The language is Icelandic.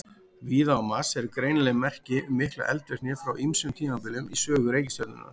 Víða á Mars eru greinileg merki um mikla eldvirkni frá ýmsum tímabilum í sögu reikistjörnunnar.